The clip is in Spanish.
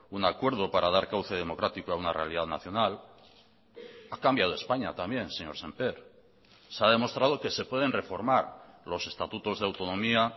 un acuerdo para dar cauce democrático a una realidad nacional ha cambiado españa también señor sémper se ha demostrado que se pueden reformar los estatutos de autonomía